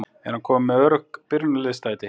Er hann kominn með öruggt byrjunarliðssæti?